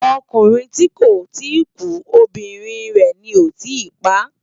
Okúrin ti kó ti kú óbirin rè ni ó tì pá